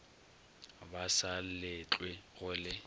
ba sa letlwe go le